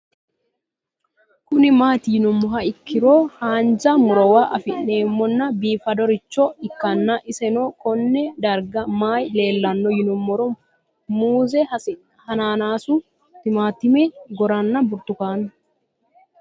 Kuni mati yinumoha ikiro hanja murowa afine'mona bifadoricho ikana isino Kone darga mayi leelanno yinumaro muuze hanannisu timantime gooranna buurtukaane